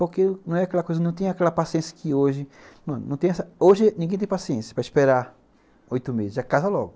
Porque não é aquela coisa, não tem aquela paciência que hoje... Hoje ninguém tem paciência para esperar oito meses, já casa logo.